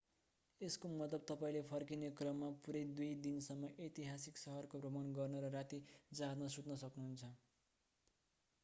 यसको मतलब तपाईंले फर्किने क्रममा पूरै दुई दिनसम्म ऐतिहासिक सहरको भ्रमण गर्न र राति जहाजमा सुत्न सक्नुहुन्छ